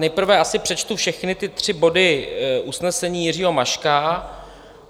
Nejprve asi přečtu všechny ty tři body usnesení Jiřího Maška.